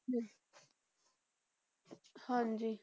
ਹਾਂਜੀ।